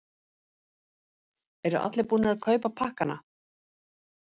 En eru allir búnir að kaupa pakkana?